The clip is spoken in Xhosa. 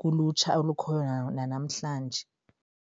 kulutsha olukhoyo nanamhlanje.